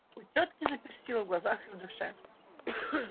у тётки запестрило в глазах и в душе